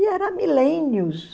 E era milênios.